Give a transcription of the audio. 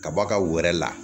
Ka bɔ a ka wɔɔrɔ la